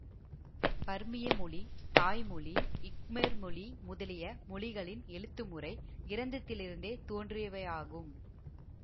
பர்மிய மொழி தாய் மொழி க்மெர் மொழி முதலிய மொழிகளின் எழுத்து முறை கிரந்ததிலிருந்தே தோன்றியவையாகும்